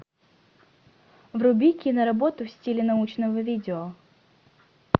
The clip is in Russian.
вруби киноработу в стиле научного видео